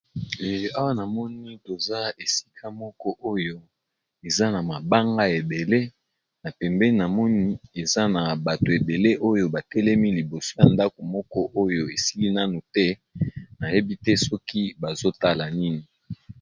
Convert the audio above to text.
Awa namoni toza esika moko oyo eza na mabanga ya ebele, na pembeni na moni eza na bato ebele oyo ba telemi liboso ya ndako moko oyo esili nanu te nayebi te soki bazo tala nini.